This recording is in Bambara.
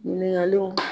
Ɲininkaliw